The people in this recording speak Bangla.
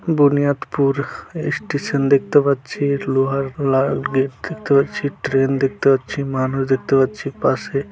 বুনিয়াদপুর স্টেশন দেখতে পাচ্ছি লোহার লাল গেট দেখতে পাচ্ছি ট্রেন দেখতে পাচ্ছি মানুষ দেখতে পাচ্ছি পাশে--